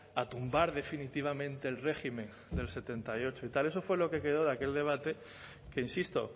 a tumbar definitivamente el régimen del setenta y ocho y tal eso fue lo que quedó a aquel debate que insisto